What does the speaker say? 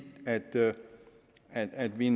at vi